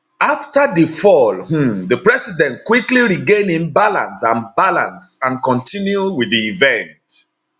afta di fall um di president quickly regain im balance and balance and continue wit di event